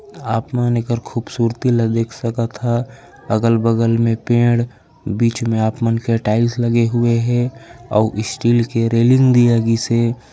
आपमन एकर खूबसूरती ल देख सकत हव अगल-बगल मे पेड़ बीच मे आपमान के टाइल्स लगे हुए हे अऊ स्टील के रैलिंग भी लगिसे।